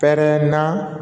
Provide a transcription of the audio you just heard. Pɛrɛnna